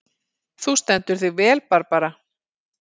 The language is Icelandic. Þú stendur þig vel, Barbara!